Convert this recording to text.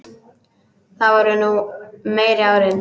Það voru nú meiri árin.